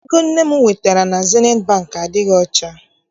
Ego nne m wetara na Zenit Bankị adịghị ọcha.